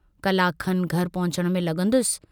कलाक खनि घर पहुचण में लगन्दुसि।